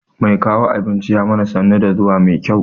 Mai kawo abincin ya mana sannu da zuwa mai kyau.